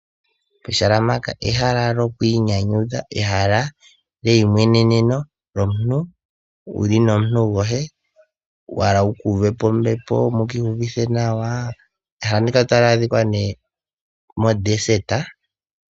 Ehala mpaka ehala lyokwiinyanyudha lyeimweneneno lyomuntu wu li nomuntu goye wa hala wu kuuve po ombepo mu kiiyuvithe nawa. Ehala ndika otali adhika nee mombuga.